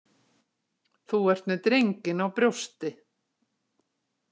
Þú ert með drenginn á brjósti.